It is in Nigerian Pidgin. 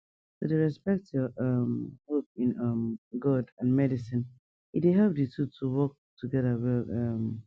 to dey respect your um hope in um god and medicine e dey help di two to work together well um